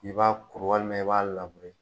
K'i b'a kuru walima i b'a labure.